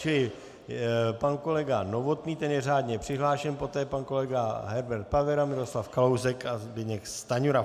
Čili pan kolega Novotný, ten je řádně přihlášen, poté pan kolega Herbert Pavera, Miroslav Kalousek a Zbyněk Stanjura.